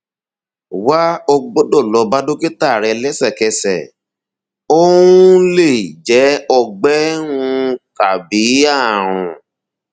wà o gbọdọ lọ bá dókítà rẹ lẹsẹkẹsẹ ó um lè jẹ ọgbẹ um tàbí ààrùn